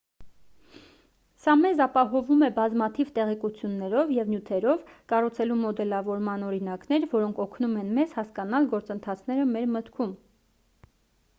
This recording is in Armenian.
սա մեզ ապահովում է բազմաթիվ տեղեկություններով և նյութերով կառուցելու մոդելավորման օրինակներ որոնք օգնում են մեզ հասկանալ գործընթացները մեր մտքում